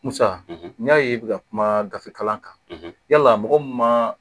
Musa n y'a ye i bɛ ka kuma gafe kalan yala mɔgɔ min ma